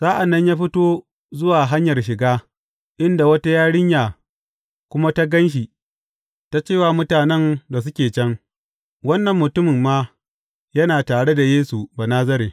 Sa’an nan ya fito zuwa hanyar shiga, inda wata yarinya kuma ta gan shi, ta ce wa mutanen da suke can, Wannan mutum ma yana tare da Yesu Banazare.